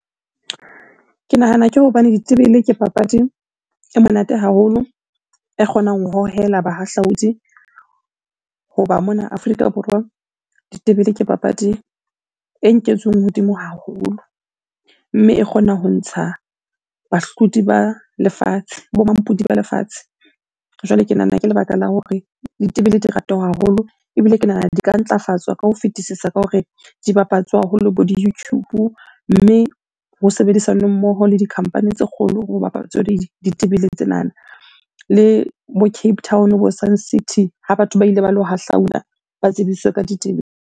Ke nahana ke hobane ditebele ke papadi e monate haholo e kgonang ho hohela bahahlaudi. Hoba mona Afrika Borwa, ditebele ke papadi e nketsweng hodimo haholo mme e kgona ho ntsha bahlodi ba lefatshe, bo mampudi ba lefatshe. Jwale ke nahana ke lebaka la hore ditebele di ratuwa haholo ebile ke nahana di ka ntlafatswa ka ho fetisisa ka hore di bapatswe haholo bo di-YouTube. Mme ho sebedisanwe mmoho le di-company tse kgolo ho bapatswe ditebele tsenana. Le bo Cape Town bo Suncity ha batho ba ile ba lo hahlaula, ba tsebiswe ka ditebele.